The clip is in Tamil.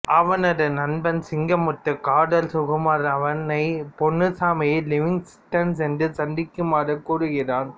அவனது நண்பன் சிங்கமுத்து காதல் சுகுமார் அவனை பொன்னுசாமியை லிவிங்ஸ்டன் சென்று சந்திக்குமாறு கூறுகிறான்